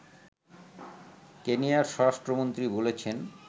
কেনিয়ার স্বরাষ্ট্রমন্ত্রী বলেছেন